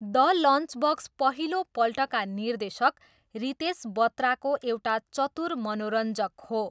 The Lunchbox पहिलोपल्टका निर्देशक रितेश बत्राको एउटा चतुर मनोरञ्जक हो।